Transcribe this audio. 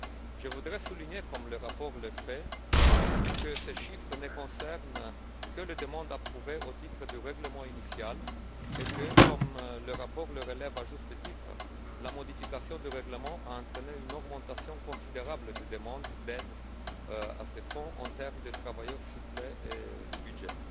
Je voudrais souligner, comme le fait le rapport, que ces chiffres ne concernent que les demandes approuvées au titre du règlement initial et que, comme le rapport le relève à juste titre, la modification du règlement a entraîné une augmentation considérable du nombre de demandes d'aide à ce fonds, en termes de travailleurs ciblés et de budget.